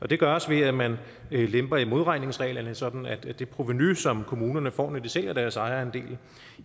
det gøres ved at man lemper i modregningsreglerne sådan at det provenu som kommunerne får når de sælger deres ejerandel